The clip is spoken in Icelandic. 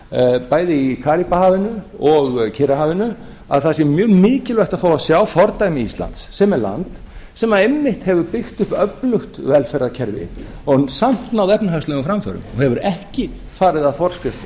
eyþjóða bæði í karíbahafinu og kyrrahafinu að það sé mjög mikilvægt að fá að sjá fordæmi íslands sem er land sem einmitt hefur byggt upp öflugt velferðarkerfi og samt náð efnahagslegum framförum og hefur ekki farið að forskrift